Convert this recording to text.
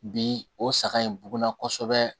Bi o saga in buguna kosɛbɛ